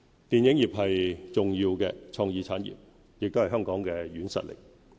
電影業是重要的創意產業，也是香港的軟實力。